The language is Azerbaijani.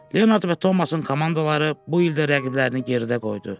Leonard və Tomasın komandaları bu il də rəqiblərini geridə qoydu.